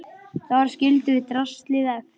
Þar skildum við draslið eftir.